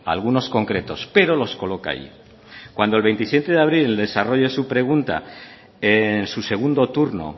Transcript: algunos concretos pero los coloca allí cuando el veintisiete de abril el desarrollo a su pregunta en su segundo turno